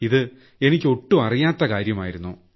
ഇതെനിക്ക് ഒട്ടും അറിയാത്ത കാര്യമായിരുന്നു